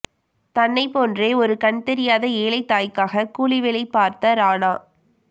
தன்னை போன்றே ஒரு கண் தெரியாத ஏழை தாய்க்காக கூலி வேலை பார்த்த ராணா